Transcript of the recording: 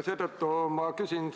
Seetõttu ma küsin,